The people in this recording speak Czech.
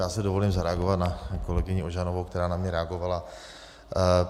Já si dovolím zareagovat na kolegyni Ožanovou, která na mě reagovala.